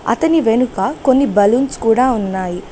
అతని వెనుక కొన్ని బలూన్స్ కూడా ఉన్నాయి.